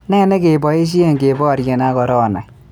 Ne negeboisye keboirye ak korona?